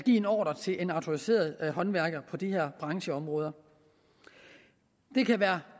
en ordre til en autoriseret håndværker på de her brancheområder det kan være